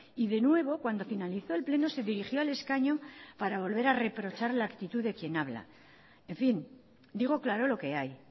y de nuevo cuando finalizó el pleno se dirigió al escaño para volver a reprochar la actitud de quien habla en fin digo claro lo que hay